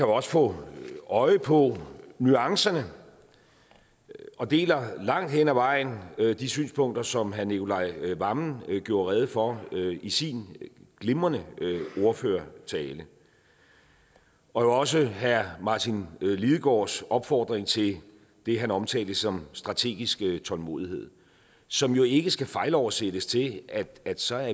også få øje på nuancerne og deler langt hen ad vejen de synspunkter som herre nicolai wammen gjorde rede for i sin glimrende ordførertale og jo også herre martin lidegaards opfordring til det han omtalte som strategisk tålmodighed som jo ikke skal fejloversættes til at at så er